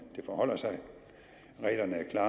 det forholder sig reglerne er